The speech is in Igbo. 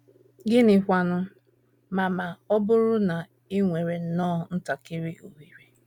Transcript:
Gịnịkwanụ ma ma ọ bụrụ na i nwere nnọọ ntakịrị ohere?